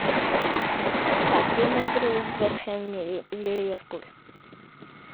хотим игру вест хэм и ливерпуль